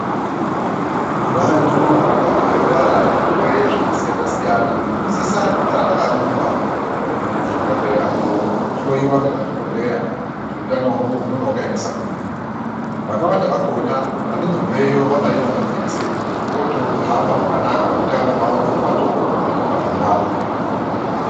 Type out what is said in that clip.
Vantu vanenge vorwara zvirwere zvakasiyana siyana vanosisa kugara vakarumba kuzvibhedhlera kunohloiwa nemadokoteya, kuti hutano hwavo hunenge hwakaemesa kudii. Vakawanda vakona vobveyo vakabaiwa majekiseni vohamba zvakanaka hutano hwavo hwatopetuka pandau .